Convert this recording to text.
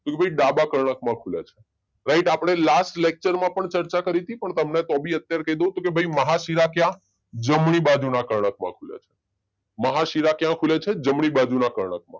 કે ભાઈ ડાબા કર્ણક માં ખુલે છે રાઈટ આપણે લેક્ચરમાં પણ ચર્ચા કરી તી પણ તમને તો ભી અત્યારે કહી દઉં કે ભાઈ મહાશીલા ક્યાં? જમણી બાજુના કર્ણક માં ખુલે છે મહાશીલા ક્યાં ખુલે છે? જમણી બાજુના કર્ણક માં